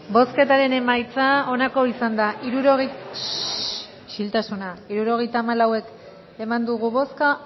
bozketaren emaitza onako izan da hirurogeita hamalau eman dugu bozka